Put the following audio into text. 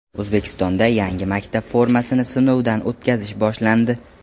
O‘zbekistonda yangi maktab formasini sinovdan o‘tkazish boshlandi.